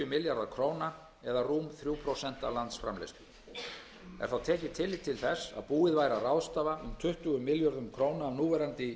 milljarðar króna það er rúm þrjú prósent af landsframleiðslu er þá tekið tillit til þess að búið væri að ráðstafa um tuttugu milljörðum króna af núverandi